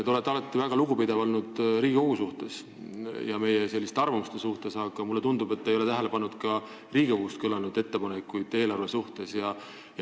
Te olete alati olnud väga lugupidav Riigikogu ja meie arvamuste vastu, aga mulle tundub, et te ei ole tähele pannud ka Riigikogust kõlanud ettepanekuid eelarve kohta.